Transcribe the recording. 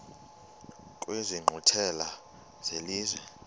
kwezi nkqwithela zelizwe